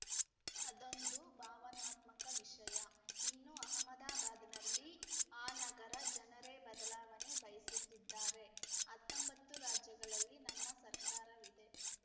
ಅದೊಂದು ಭಾವನಾತ್ಮಕ ವಿಷಯ ಇನ್ನು ಅಹಮದಾಬಾದ್‌ನಲ್ಲಿ ಆ ನಗರದ ಜನರೇ ಬದಲಾವಣೆ ಬಯಸುತ್ತಿದ್ದಾರೆ ಹತ್ತೊಂಬತ್ತು ರಾಜ್ಯಗಳಲ್ಲಿ ನಮ್ಮ ಸರ್ಕಾರವಿದೆ